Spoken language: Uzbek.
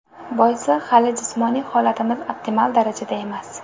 Boisi hali jismoniy holatimiz optimal darajada emas.